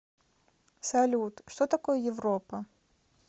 салют что такое европа